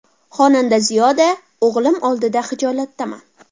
Xonanda Ziyoda: O‘g‘lim oldida xijolatdaman.